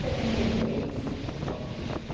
Setenta e três. São Paulo, direto.